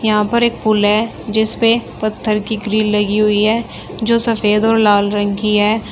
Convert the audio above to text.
यहां पर एक पुल है जिस पे पत्थर की ग्रिल लगी हुई है जो सफेद और लाल रंग की है।